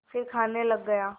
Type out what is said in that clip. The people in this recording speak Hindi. फिर खाने लग गया